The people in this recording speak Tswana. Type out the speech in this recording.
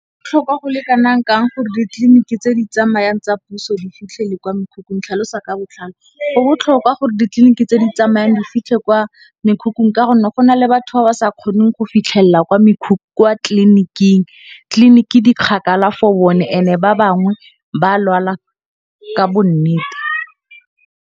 Go botlhokwa go le kana kang gore ditliliniki tse di tsamayang tsa puso di fitlhelele kwa mekhukhung? Tlhalosa ka botlalo. Go botlhokwa gore ditliliniki tse di tsamayang di fitlhe kwa mekhukhung ka gonne gona le batho ba ba sa kgoneng go fitlhelela kwa tlliniking ditlliniki di kgakala for bone ene ba bangwe ba lwala ka nnete.